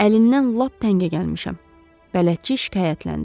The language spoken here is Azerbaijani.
Əlindən lap təngə gəlmişəm," bələdçi şikayətləndi.